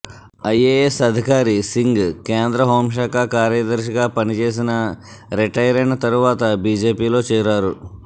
IAS అధికారి సింగ్ కేంద్ర హోమ్శాఖ కార్యదర్శిగా పనిచేసిన రిటైరైన తరువాత బీజేపీలో చేరారు